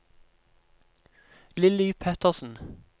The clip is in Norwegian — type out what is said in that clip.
Lilly Pettersen